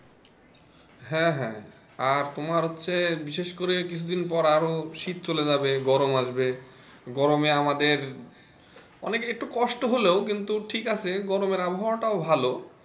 হ্যাঁ হ্যাঁ আর তোমার হচ্ছে বিশেষ করে কিছুদিন পর আরও শীত চলে যাবে গরম আসবে গরমে আমাদের অনেকে একটু কষ্ট হলেই কিন্তু ঠিক আছে গরমের অবহাওয়ায় টাও ভালো।